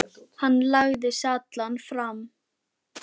Hann lagði sig allan fram.